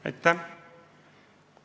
Aitäh!